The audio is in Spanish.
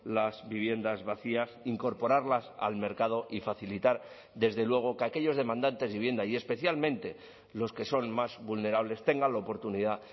las viviendas vacías incorporarlas al mercado y facilitar desde luego que aquellos demandantes de vivienda y especialmente los que son más vulnerables tengan la oportunidad